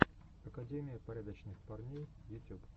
академия порядочных парней ютюб